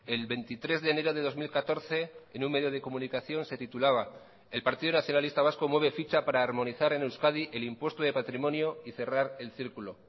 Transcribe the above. el veintitrés de enero de dos mil catorce en un medio de comunicación se titulaba el partido nacionalista vasco mueve ficha para armonizar en euskadi el impuesto de patrimonio y cerrar el círculo